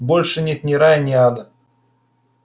больше нет ни рая ни ада